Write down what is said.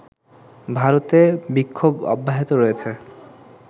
ভারতে বিক্ষোভ অব্যাহত রয়েছে